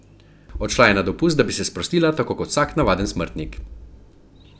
Odšla je na dopust, da bi se sprostila tako kot vsak navaden smrtnik.